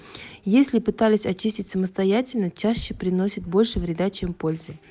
если пытались очистить самостоятельно чаще приносит больше вреда чем пользы